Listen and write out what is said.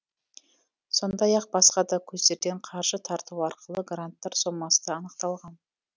сондай ақ басқа да көздерден қаржы тарту арқылы гранттар сомасы да анықталған